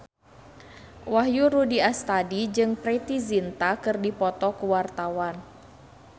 Wahyu Rudi Astadi jeung Preity Zinta keur dipoto ku wartawan